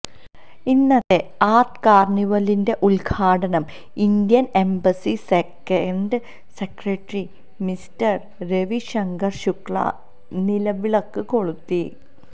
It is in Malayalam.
ഇന്നത്തെ ആർട് കാര്ണിവലിന്റെ ഉത്ഘാടനം Indian embassy second secretary mister Ravi Shankar Shukla നിലവിളക്ക് കൊളുത്തി